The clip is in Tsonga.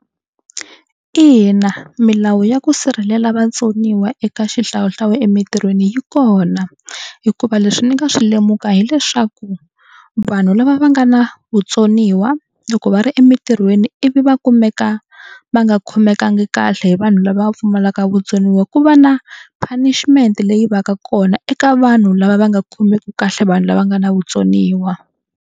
Ina milawu ya ku sirhelela vatsoniwa eka xihlawuhlawu emintirhweni yi kona hikuva leswi ni nga swi lemuka hileswaku vanhu lava va nga na vutsoniwa loko va ri emintirhweni ivi va kumeka va nga khomekangi kahle hi vanhu lava pfumalaka vutsoniwa ku va na punishment leyi va ka kona eka vanhu lava va nga khomeki kahle vanhu lava nga na vutsoniwa.